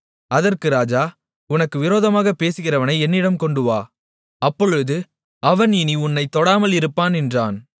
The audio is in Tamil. அதற்கு ராஜா உனக்கு விரோதமாகப் பேசுகிறவனை என்னிடம் கொண்டுவா அப்பொழுது அவன் இனி உன்னைத் தொடாமல் இருப்பான் என்றான்